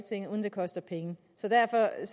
koster penge så derfor er